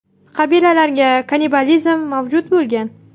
Qabilalarga kannibalizm mavjud bo‘lgan.